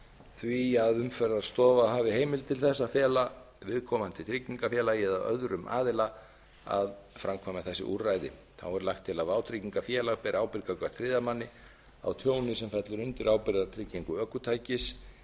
því að umferðarstofa hafi heimild til að fela viðkomandi tryggingafélagi eða öðrum aðila að framkvæma þessi úrræði þá er lagt til að vátryggingafélag beri ábyrgð gagnvart þriðja manni á tjóni sem fellur undir ábyrgðartryggingu ökutækis